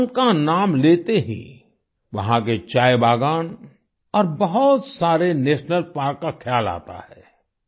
असम का नाम लेते ही वहाँ के चायबागान और बहुत सारे नेशनल पार्क का ख्याल आता है